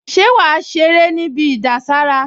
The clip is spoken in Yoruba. Ṣé wàá ṣeré níbi ìdására?